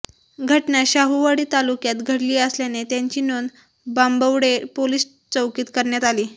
घटना शाहूवाडी तालुक्यात घडली असल्याने त्यांची नोंद बांबवडे पोलिस चौकीत करण्यात आली